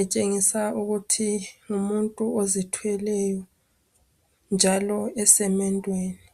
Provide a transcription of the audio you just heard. etshengisa ukuthi ngumuntu ozithweleyo njalo esemendweni.